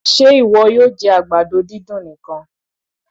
Ṣé ìwọ yóò jẹ àgbàdo dídùn nìkan?